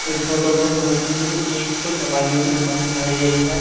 इस फोटो में मुझे एक दवाइयो की दुकान दिखाई दे रही है।